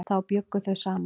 Þá bjuggu þau saman.